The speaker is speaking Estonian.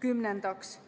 Kümnendaks,